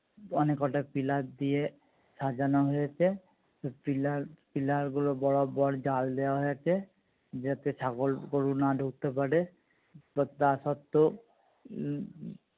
অনেক কটা পিলিয়ার দিয়ে সাজানো হয়েছে। তো পিলিয়ার পিলিয়ার গুলো বরাবর জাল দেওয়া হয়েছে। যাতে ছাগল গরু না ঢুকতে পারে। but তার সত্ত্বেও উম